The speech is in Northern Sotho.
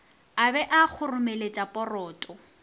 a be a kgoromeletša poroto